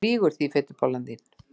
Þú lýgur því fitubollan þín!